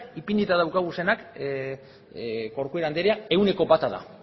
ipinita ditugunak corcuera andrea ehuneko bata da